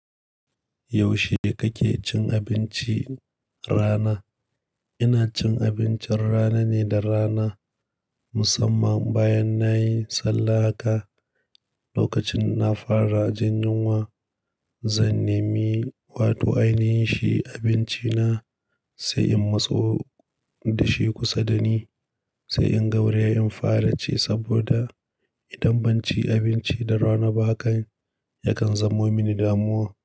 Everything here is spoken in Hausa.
Yaushe kake cin abinci rana? Ina cin abincin rana ne da rana, musamman bayan nayi sallah haka. Lokacin na fara jin yunwa, zan nemi wato ainihin shi abinci na, sai in matso da shi kusa da ni, sai in gauraye in fara ci saboda idan ban ci abinci da rana ba hakan, ya kan zamo mini damuwa.